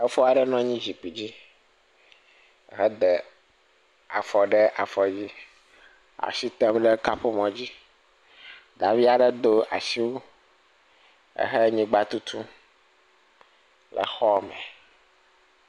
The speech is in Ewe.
Efo aɖe nɔ nyi zikpidzi he da afɔ ɖe afɔdzi, ash item ɖe kaƒomɔdzi. Davi aɖe do ashiwu ehe anyigba tutum le xɔme.